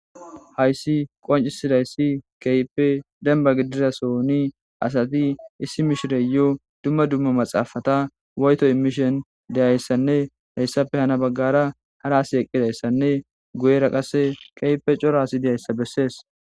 Hayissi qonccissayiss kehippe dennibba gidida so'onni asati issi mishshiriyo dumma dumma maxafata woyitto imishsheni dizayissanne hessappe haa bagara hara asi eqidayissanne guyera qase kehippe cora asi dizayissa besses.